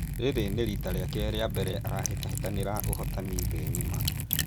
Rĩrĩ rĩarĩ rita rĩake rĩambere arahĩtahĩtanĩra ũhotani thĩ ng’ima